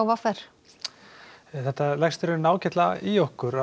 v r þetta leggst ágætlega í okkur